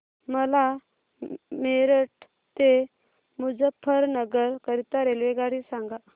मला मेरठ ते मुजफ्फरनगर करीता रेल्वेगाडी सांगा